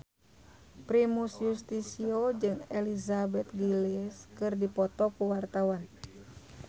Primus Yustisio jeung Elizabeth Gillies keur dipoto ku wartawan